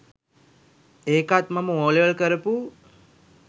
ඒකත් මම ඕලෙවල් කරපු